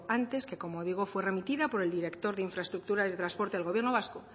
antes que como digo fue remitida por el director de infraestructuras y transporte del gobierno vasco